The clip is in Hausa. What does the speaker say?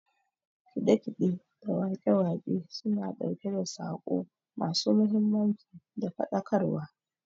Kiɗe kiɗe da waƙe waƙe suna ɗauke da saƙo ma su mahimmanci da faɗakar wa